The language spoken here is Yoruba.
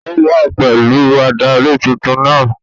Ó wá pẹ̀lú adarí tuntun náà